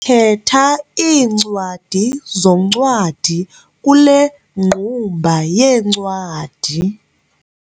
Khetha iincwadi zoncwadi kule ngqumba yeencwadi.